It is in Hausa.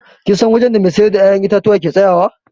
Kin san wajen da mai siyar da ya'yan itatuwa ke tsayawa?